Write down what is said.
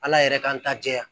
Ala yɛrɛ k'an ta jɛya